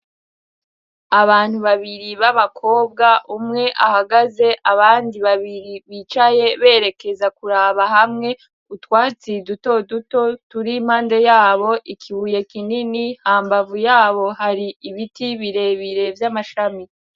abantu babiri b'abakobwa umwe ahagaze abandi babiri bicaye berekeza kuraba hamwe utwatsi duto duto turi impande yabo ikibuye kinini hambavu yabo hari ibiti birebire by'amashami